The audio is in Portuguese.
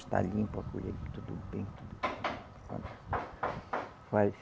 Está limpo a colheita, tudo bem, tudo